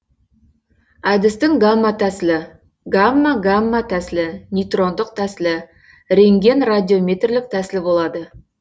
әдістің гамма тәсілі гамма гамма тәсілі нейтрондық тәсілі рентгенрадиометрлік тәсілі болады